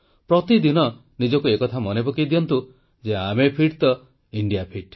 ପ୍ରତିଦିନ ନିଜକୁ ଏ କଥା ମନେ ପକାଇ ଦିଅନ୍ତୁ ଯେ ଆମେ ଫିଟ୍ ତ ଇଣ୍ଡିଆ ଫିଟ୍